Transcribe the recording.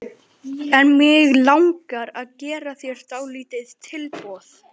En mig langar að gera þér dálítið tilboð.